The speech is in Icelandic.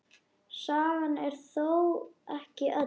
Sagan er þó ekki öll.